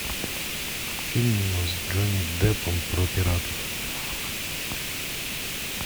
фильм с джонни деппом про пиратов